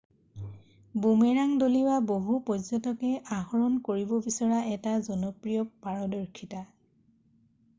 boomerang দলিউৱা বহু পৰ্য্যটকে আহৰণ কৰিব বিচৰা এটা জনপ্ৰিয় পাৰদৰ্শিতা